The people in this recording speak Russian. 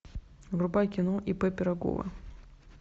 врубай кино ип пирогова